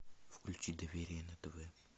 включи доверие на тв